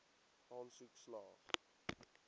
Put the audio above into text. aansoek slaag